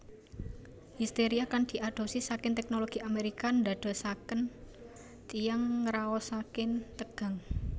Histeria kang diadopsi saking teknologi Amerika ndadosaken tiyang ngraosaken tegang